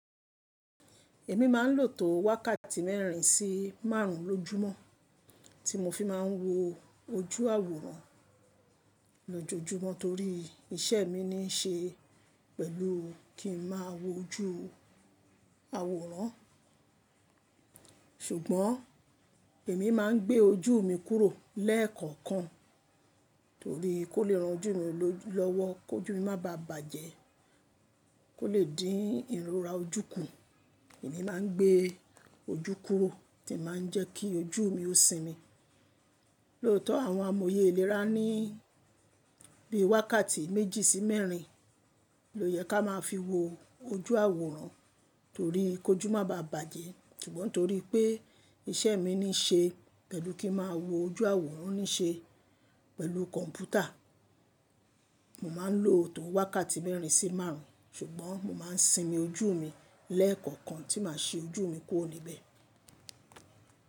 Èmi má ń lòtò wákàtí mẹ́rin sí márùn lọjúmọ́ tí mo fi má ń wo ojú àwòrán lójojúmọ́ torí iṣẹ́ mi ní ṣe pẹ̀lú kí n má wo ojú àwòrán. Ṣùgbọ́n èmi má ń gbé ojú mi kúrò lẹ́ẹ̀kọ̀kan torí kó lè ranjú mi lọ́wọ́, kó jú mi má bá bàjẹ́, kó lè dín ìrora ojú kùn. Èmi má ń gbé ojú kúrò tí màá ń jẹ́ kí ojú mi ó sinmi. Lóòtọ́ àwọn amòye ìlera ní bí i wákàtí méjì sí mẹ́rin lo yẹ ká má a fi wo ojú àwòrán torí kó jú má bá bàjẹ́. Ṣugbọn torí pé iṣẹ́ mi ní ṣe pẹ̀lú kí n má wo ojú àwòrán ní ṣe pẹ̀lú kọ̀ǹpútà, mo má ń lò tò wákàtí mẹ́rin sí márùn. Ṣùgbọ́n mo má ń sinmi ojú mi lẹ́ẹ̀kọ̀kan tí màá ṣe ojú mi kúro níbẹ̀.